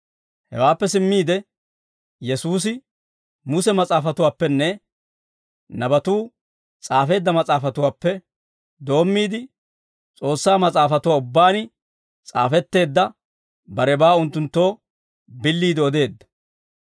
Hewaappe simmiide Yesuusi Muse mas'aafatuwaappenne Nabatuu s'aafeedda mas'aafatuwaappe doommiide, S'oossaa Mas'aafatuwaa ubbaan s'aafetteedda barebaa unttunttoo billiide odeedda.